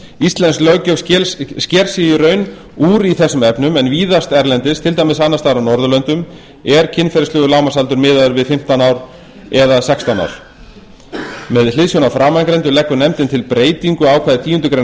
íslensk löggjöf sker sig í raun úr í þessum efnum en víðast erlendis til dæmis á annars staðar á norðurlöndum er kynferðislegur lágmarksaldur miðaður við fimmtán eða sextán ár með hliðsjón af framangreindu leggur nefndin til breytingu á ákvæði tíundu greinar